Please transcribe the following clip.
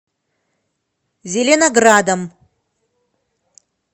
зеленоградом